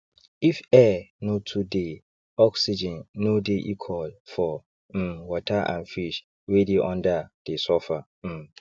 if air no too deyoxygen no dey equal for um water and fish wey dey under dey suffer um